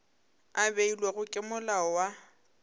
a beilwego ke molao wa